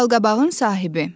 Balqabağın sahibi.